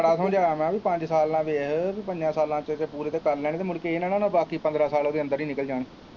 ਬੜਾ ਸਮਝਾਇਆ ਮੈਂ ਵੀ ਪੰਜ ਸਾਲ ਨਾ ਵੇਖ ਵੀ ਪੰਜਾਂ ਸਾਲਾਂ ਚ ਪੂਰੇ ਤਾਂ ਕਰ ਲੈਣੇ ਮੁੜ ਕੇ ਇਹ ਨਾ ਹੋਏ ਬਾਕੀ ਪੰਦਰਾਹ ਸਾਲ ਉਹਦੇ ਅੰਦਰ ਹੀ ਨਿਕਲ ਜਾਣ।